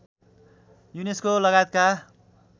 UNESCO लगायतका